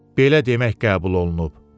Belə demək qəbul olunub.